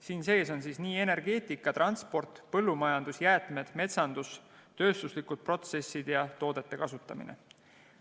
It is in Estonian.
Siin sees on nii energeetika, transport, põllumajandus, jäätmed, metsandus, tööstuslikud protsessid kui ka toodete kasutamine.